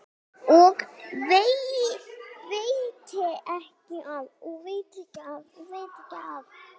Og veitir ekki af.